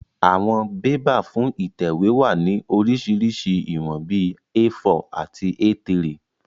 Àwọn bébà fún ìtẹ̀wé wá ní oríṣiríṣi ìwọ̀n bíi A4 àti A3